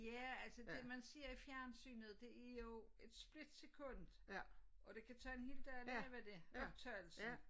Ja altså det man ser i fjernsynet det er jo et split sekund og det kan tage en hel dag at lave det optagelsen